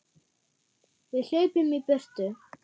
Við hlaupum í burtu.